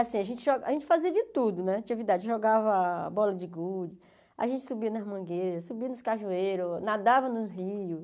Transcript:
Assim a gente jo a gente fazia de tudo né atividade, jogava bola de gude, a gente subia nas mangueiras, subia nos cajueiros, nadava nos rios.